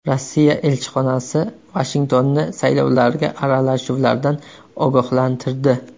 Rossiya elchixonasi Vashingtonni saylovlarga aralashuvlardan ogohlantirdi.